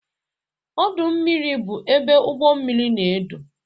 Ọdụ ugbọ mmiri bụ ebe ụgbọ mmiri na-edo.